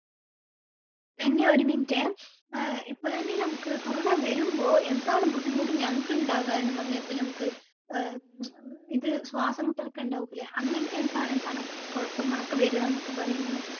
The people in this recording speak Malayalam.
നനി ഒരു minute എ ഏർ ഇപ്പൊ നനി നമ്മുക്ക് corona വരുമ്പോ എന്താണ് ബുദ്ധിമുട്ട് ഞങ്ങക്ക് ഇണ്ടാകാന് എന്ന് പറഞ്ഞ ഇപ്പൊ നമ്മക്ക് ഏർ ഉം ഉം ഇത് ശ്വാസം മുട്ടൽ ഒക്കെ ഇണ്ടാവൂലെ അങ്ങനത്തെ എന്താ എന്താണ് കുഴപ്പങ്ങളൊക്കെ വരാ എന്നൊക്കെ പറയ് നനി